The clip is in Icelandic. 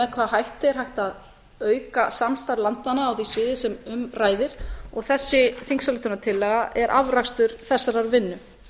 hvaða hætti er hægt að auka samstarf landanna á því sviði sem um ræðir og þessi á er afrakstur þessarar vinnu